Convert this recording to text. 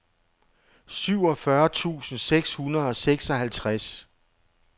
syvogfyrre tusind seks hundrede og seksoghalvtreds